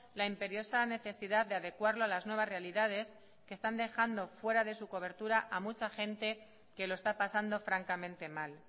la imperiosa necesidad de adecuarlo a las nuevas realidades que están dejando fuera de su cobertura a mucha gente que lo está pasando francamente mal